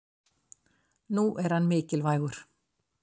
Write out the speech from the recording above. nú er hann mikilvægur